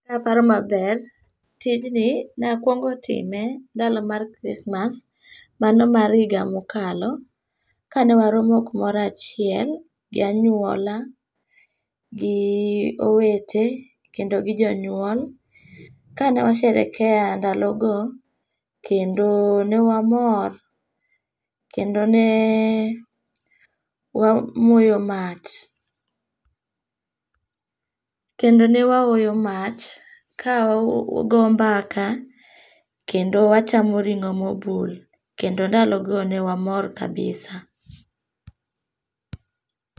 Kaparo maber tigni nakuongo time dalo mar chrismas mano mar yiga mokalo kane waromo kumoro achiel gi anyuola gi gowete kendo gi jonyuol kane washerekea ndalogo kendo newamor kendo ne wamoyo mach kendo ne mwahoyo mach kaa wago mbaka kendo wachamo ringo' mobul kendo ndalogo ne wamor kabisa